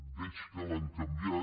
veig que l’han canviat